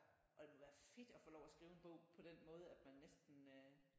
Og det må være fedt at få lov til at skrive den bog på den måde at man næsten øh